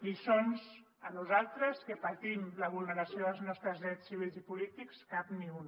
lliçons a nosaltres que patim la vulneració dels nostres drets civils i polítics cap ni una